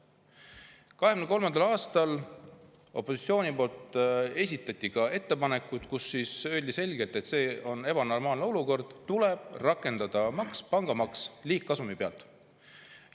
2023. aastal esitas opositsioon ettepanekuid, kus öeldi selgelt, et see on ebanormaalne olukord ja tuleb rakendada pangamaksu liigkasumi pealt.